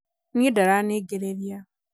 niĩ ndaraningĩrĩria